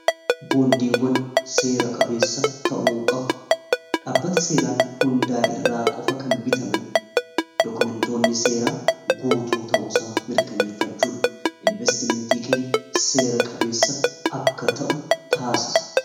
boondiiwwan seera-qabeessa ta'u qabu dhaabbata seeraan hundaa irraa qofa kan bitaman dokumentoonni seera guutuu ta'uisa mirkaneeffachuun investimentii keeny seera qabeessa akka ta'u taasisa